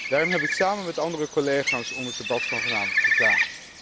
Daarom heb ik samen met andere collega's om het debat van vanavond gevraagd.